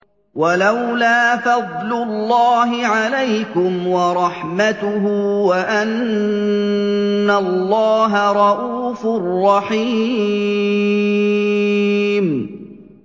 وَلَوْلَا فَضْلُ اللَّهِ عَلَيْكُمْ وَرَحْمَتُهُ وَأَنَّ اللَّهَ رَءُوفٌ رَّحِيمٌ